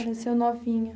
Faleceu novinha.